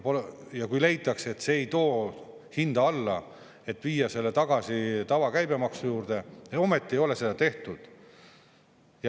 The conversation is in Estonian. Ja kui leitakse, et see ei too hinda alla, siis võiks viia selle tagasi tavakäibemaksu juurde, aga ometi ei ole seda tehtud.